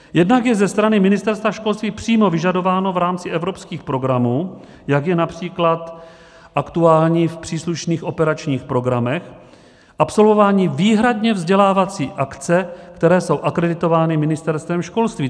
Jednak je ze strany Ministerstva školství přímo vyžadováno v rámci evropských programů, jako je například aktuální v příslušných operačních programech, absolvování výhradně vzdělávacích akcí, které jsou akreditovány Ministerstvem školství.